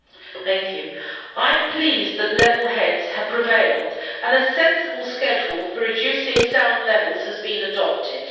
Madam President, I am pleased that level heads have prevailed and a sensible schedule for reducing sound levels has been adopted.